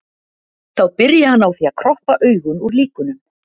Þá byrji hann á því að kroppa augun úr líkunum.